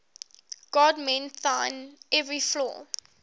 god mend thine every flaw